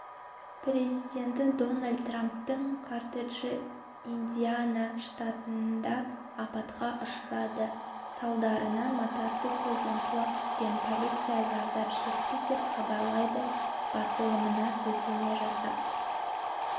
президенті дональд трамптың кортежі индиана штатында апатқа ұшырады салдарынан мотоциклден құлап түскен полиция зардап шекті деп хабарлайды басылымына сілтеме жасап